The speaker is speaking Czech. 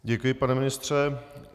Děkuji, pane ministře.